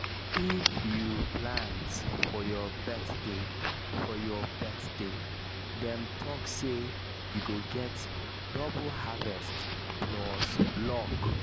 if you plant for your birthday for your birthday dem talk say you go get double harvest plus luck